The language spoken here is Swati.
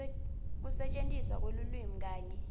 kusetjentiswa kwelulwimi kanye